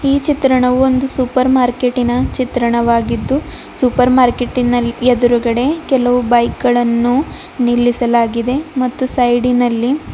ಈ ಚಿತ್ರಣವು ಒಂದು ಸೂಪರ್ ಮಾರ್ಕೆಟಿ ನ ಚಿತ್ರವಾಗಿದೆ ಸೂಪರ್ ಮಾರ್ಕೆಟ್ ನಲ್ಲಿ ಎದುರುಗಡೆ ಕೆಲವು ಬೈಕ್ ಗಳನ್ನು ನಿಲ್ಲಿಸಲಾಗಿದೆ ಮತ್ತು ಸೈಡಿ ನಲ್ಲಿ --